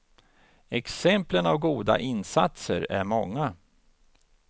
Exemplen av goda insatser är många.